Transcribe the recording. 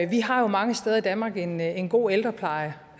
vi har jo mange steder i danmark en en god ældrepleje